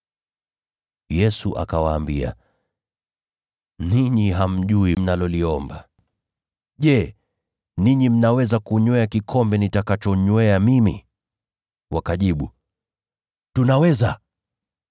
Yesu akawaambia, “Ninyi hamjui mnaloliomba. Je, mnaweza kukinywea kikombe nitakachonywea mimi?” Wakajibu, “Tunaweza.”